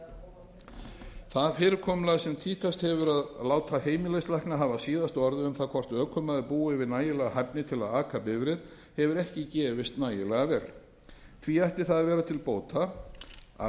skilyrðum það fyrirkomulag sem tíðkast hefur að láta heimilislækna hafa síðasta orðið um það hvort ökumaður búi yfir nægilegri hæfni til að aka bifreið hefur ekki gefist nægilega vel því ætti það að vera til bóta að